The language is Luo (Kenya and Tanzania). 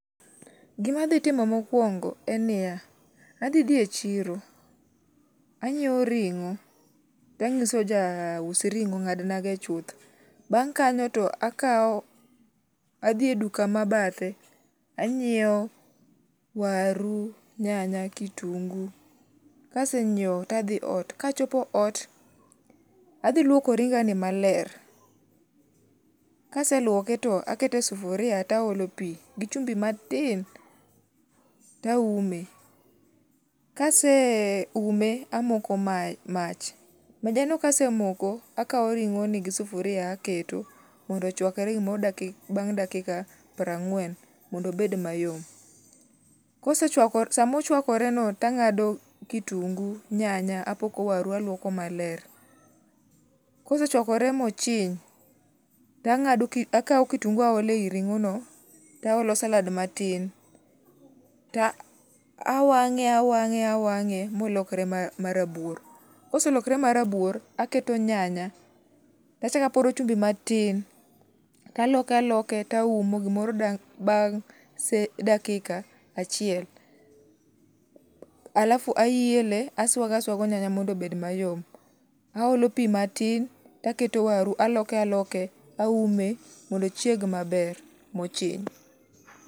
Gima adhi timo mokuongo en ni ya, adhi dhi e chiro, anyiewo ring'o, tanyiso ja us ring'o ong'ad nago chuth. Bang' kanyo to akao, adhi e duka mabadhe, anyiewo waru, nyanya, kitungu. Kasenyiewo tadhi ot, kachopo ot, adhi lwoko ringa ni maler. Kaselwoke to akete e sufuria to aole pi, gi chumbi matin, taume. Kaseume amoko mach. Maja no kasemoko, akao ring'o ni gi sufuria aketo mondo ochuakre gimoro bang' dakika piero ang'wen mondo ober mayom. Kosechuakore, sama ochuakore no tang'ado kitungu, nyanya, apoko waru alwoko maler. Kosechuakore mochiny, tang'ado akao kitungu aolo ei ring'o no, taolo salad matin, to awang'e awang'e awang'e molokre ma rabuor. Koselokre marabuor, aketo nyanya, tachak aporo chumbi matin, to aloke aloke taumo gimoro bang' seche dakika achiel. Alafu aele, aswago aswago nyanya mondo obed mayom. Aolo pi matin, taketo waru, aloke aloke, aume mondo ochieg maber mochiny.